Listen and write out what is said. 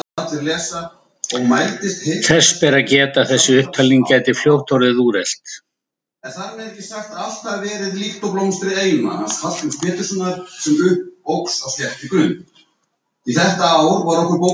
Þess ber að geta að þessi upptalning gæti fljótt orðið úrelt.